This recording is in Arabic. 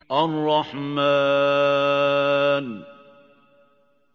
الرَّحْمَٰنُ